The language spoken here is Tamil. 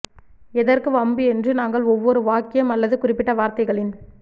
எதற்கு வம்பு என்று நாங்கள் ஒவ்வொரு வாக்கியம் அல்லது குறிப்பிட்ட வார்த்தைகளின்